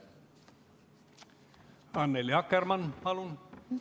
Annely Akkermann, palun!